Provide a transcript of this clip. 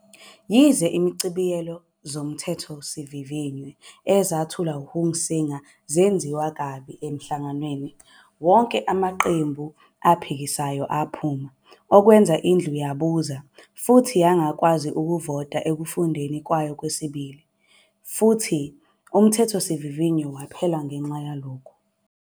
Yize izichibiyelo zoMthethosivivinywa ezethulwe nguHunsinger 'zenziwe kabi' esihlalweni, wonke amaqembu aphikisayo aphuma - okwenza iNdlu yabuza futhi yangakwazi ukuvota ekufundweni kwayo kwesibili futhi uMthethosivivinywa waphela ngenxa yalokho.